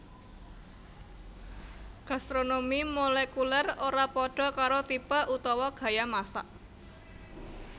Gastronomi molekulèr ora padha karo tipe utawa gaya masak